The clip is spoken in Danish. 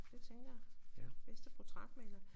Det tænker jeg bedste portrætmaler